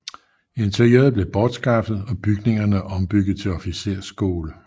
Interiøret blev bortskaffet og bygningerne ombygget til officersskole